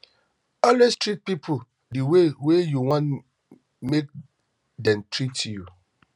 always treat pipo di way wey you want make dem treat you